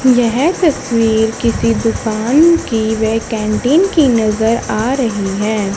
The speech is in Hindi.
यह तस्वीर किसी दुकान की व कैंटीन की नजर आ रही है।